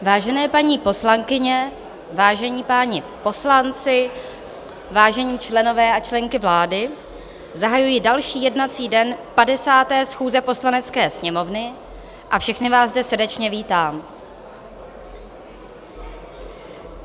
Vážené paní poslankyně, vážení páni poslanci, vážení členové a členky vlády, zahajuji další jednací den 50. schůze Poslanecké sněmovny a všechny vás zde srdečně vítám.